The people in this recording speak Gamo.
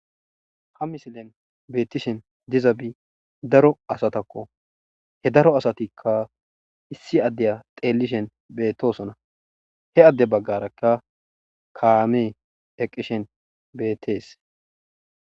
ha misilen beettishen diza bi daro asatakko he daro asatikka issi addeya xeellishen bettosona he adde baggarakka kaamee eqqishen bettees